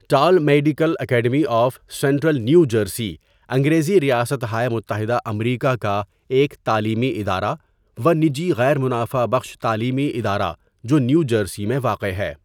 ٹالمعڈیکل Academy of Central New Jersey انگریزی ریاست ہائے متحدہ امریکا کا ایک تعلیمی ادارہ و نجی غیر منافع بخش تعلیمی ادارہ جو نیو جرسی میں واقع ہے.